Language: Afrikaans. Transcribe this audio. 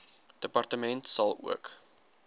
departement sal ook